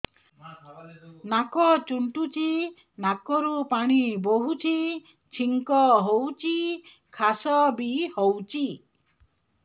ନାକ ଚୁଣ୍ଟୁଚି ନାକରୁ ପାଣି ବହୁଛି ଛିଙ୍କ ହଉଚି ଖାସ ବି ହଉଚି